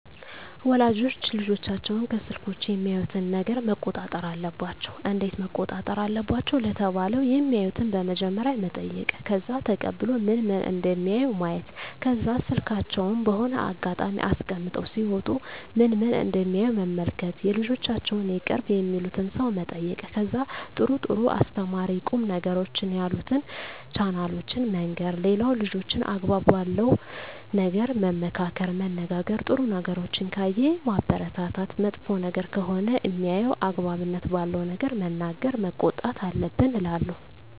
ወላጆች ልጆቻቸውን ከስልኮች የሚያዩትን ነገረ መቆጣጠር አለባቸው እንዴት መቆጣጠር አለባቸው ለተባለው የማዩትን በመጀመሪያ መጠይቅ ከዛ ተቀብሎ ምን ምን እደሚያዩ ማየት ከዛ ስልካቸውን በሆነ አጋጣሚ አስቀምጠው ሲወጡ ምን ምን እደሚያዩ መመልከት የልጆቻቸውን የቅርብ የሚሉትን ሰው መጠየቅ ከዛ ጥሩ ጥሩ አስተማሪ ቁም ነገሮችን ያሉትን ቻናሎችን መንገር ሌላው ልጆችን አግባብ ባለው ነገር መመካከር መነጋገር ጥሩ ነገሮችን ካየ ማበረታታት መጥፎ ነገር ከሆነ ሜያየው አግባብነት ባለው ነገር መናገር መቆጣት አለብን እላለው